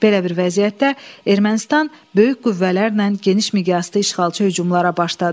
Belə bir vəziyyətdə Ermənistan böyük qüvvələrlə geniş miqyaslı işğalçı hücumlara başladı.